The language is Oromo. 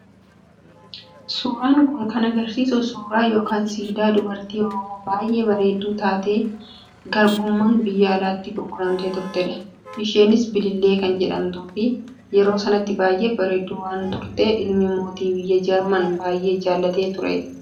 Suuraan kun kan agarsiisu suuraa yookaan siidaa dubartii oromoo baay'ee bareedduu taatee garbummaan biyya alaatti gurguramtee turtedha. Isheenis Bilillee kan jedhamtuu fi yeroo sanatti baay'ee bareedduu waan turtee ilmi mootii biyya Jarman baay'ee jaallatee turee.